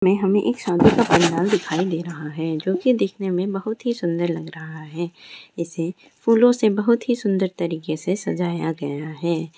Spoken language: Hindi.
में हमें एक शादी का पंडाल दिखाई दे रहा है जो कि दिखने में बहुत ही सुन्दर लग रहा है इसे फूलों से बहुत ही सुन्दर तरीके से सजाया गया है।